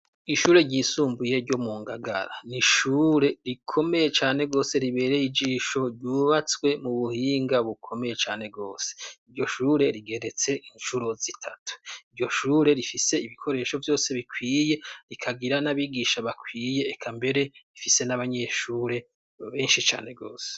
ishure ryisumbuye ryo mu ngagara ni ishure rikomeye cane gose ribereye igisho ryubatswe mu buhinga bukomeye cane gwose iryo shure rigeretse incuro zitatu iryo shure rifise ibikoreshovbyose bikwiye rikagira n'abigisha bakwiye ekambere ifise n'abanyeshure benshi cane gose